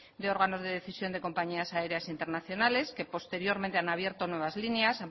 de órganos de decisión de compañías aéreas internacionales que posteriormente han abierto nuevas líneas